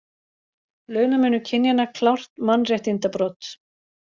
Launamunur kynjanna klárt mannréttindabrot